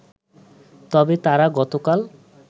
তবে তারা গতকাল